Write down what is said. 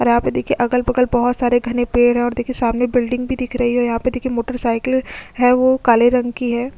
और यहाँ पे देखिये अगल - बगल बहुत सारे घने पेड़ है और देखिये सामने बिल्डिंग भी दिख रही है यहाँ पर देखिये मोटरसाइकिले है ओह काले रंग की है।